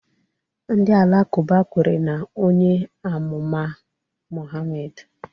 Ndị Alakụba kwere na onye amụma Muhammad